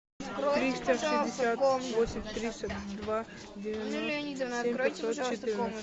триста шестьдесят восемь тридцать два девяносто семь пятьсот четырнадцать